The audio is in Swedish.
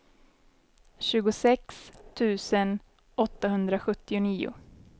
tjugosex tusen åttahundrasjuttionio